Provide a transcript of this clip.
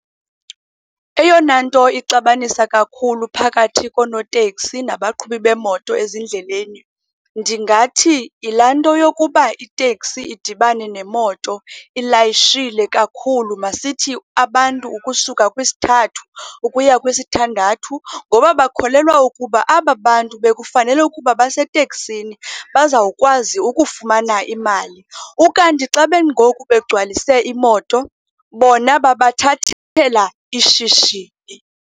Eyona nto ixabanisa kakhulu phakathi koonoteksi nabaqhubi beemoto ezindleleni ndingathi, yilaa nto yokuba iteksi idibane nemoto ilayishile kakhulu. Masithi abantu ukusuka kwisithathu ukuya kwisithandathu. Ngoba bakholelwa ukuba aba bantu bekufanele ukuba baseteksini bazawukwazi ukufumana imali. Ukanti xa bengoku begcwalise imoto, bona babathathela ishishini.